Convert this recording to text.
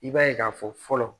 I b'a ye k'a fɔ fɔlɔ